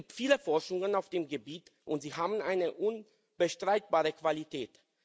Es gibt viele Forschungen in diesem Gebiet, und sie haben eine unbestreitbare Qualität.